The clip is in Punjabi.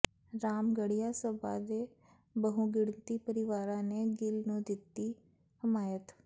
ਰਾਮਗੜ੍ਹੀਆ ਸਭਾ ਦੇ ਬਹੁਗਿਣਤੀ ਪਰਿਵਾਰਾਂ ਨੇ ਗਿੱਲ ਨੂੰ ਦਿੱਤੀ ਹਮਾਇਤ